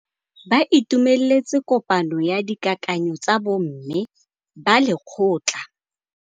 Ba itumeletse kôpanyo ya dikakanyô tsa bo mme ba lekgotla.